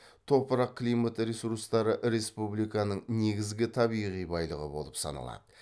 топырақ климат ресурстары республиканың негізгі табиғи байлығы болып саналады